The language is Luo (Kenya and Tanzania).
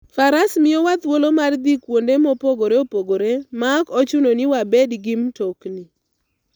Faras miyowa thuolo mar dhi kuonde mopogore opogore maok ochuno ni wabed gi mtokni.